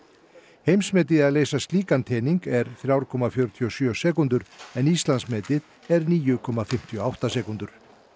heimsmetið í að leysa slíkan tening er þriggja komma fjörutíu og sjö sekúndur en Íslandsmetið er níu komma fimmtíu og átta sekúndur